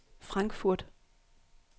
Frankfurt